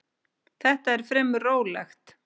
Þetta er fremur rólegt.